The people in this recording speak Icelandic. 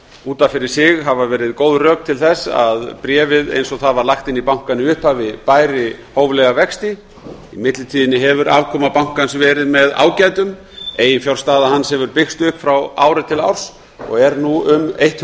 út af fyrir sig hafa verið góð rök til þess að bréfið eins og það var lagt inn í bankann í upphafi bæri hóflega vexti í millitíðinni hefur afkoma bankans verið með ágætum eiginfjárstaða hans hefur byggst upp ári til árs og er nú um